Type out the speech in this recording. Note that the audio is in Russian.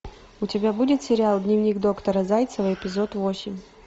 у тебя будет сериал дневник доктора зайцева эпизод восемь